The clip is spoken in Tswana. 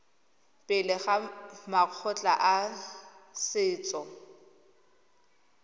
pele ga makgotla a setso